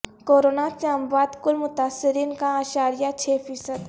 corona سے اموات کل متاثرین کا اعشاریہ چھ فیصد